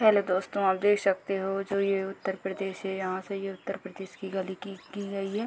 Hello दोस्तों आप देख सकते हो ये जो उत्तर प्रदेश है यहाँ से ये उतर प्रदेश की गली की की गई है।